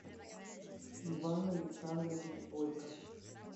иван александрович бойков